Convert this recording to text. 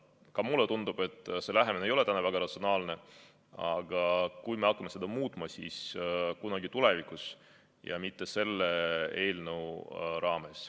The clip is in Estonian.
Ka mulle tundub, et see lähenemine ei ole väga ratsionaalne, aga kui me hakkame seda muutma, siis kunagi tulevikus ja mitte selle eelnõu raames.